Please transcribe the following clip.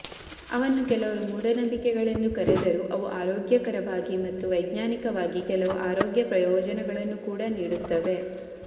ಅವನ್ನು ಕೆಲವರು ಮೂಡನಂಬಿಕೆಗಳೆಂದು ಕರೆದರೂ ಅವು ಆರೋಗ್ಯಕರವಾಗಿ ಮತ್ತು ವೈಜ್ಞಾನಿಕವಾಗಿ ಕೆಲವು ಆರೋಗ್ಯ ಪ್ರಯೋಜನಗಳನ್ನು ಕೂಡಾ ನೀಡುತ್ತವೆ